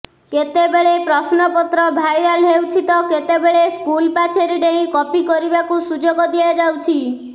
କେତେ ବେଳେ ପ୍ରଶ୍ନପତ୍ର ଭାଇରାଲ ହେଉଛି ତ କେତେବେଳେ ସ୍କୁଲ ପାଚେରୀ ଡେଇଁ କପି କରିବାକୁ ସୁଯୋଗ ଦିଆଯାଉଛି